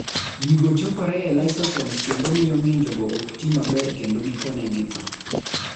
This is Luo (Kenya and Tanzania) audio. Gigo chokore e lysosomes kendo miyo ng'injogo ok ti maber kendo gikone githo.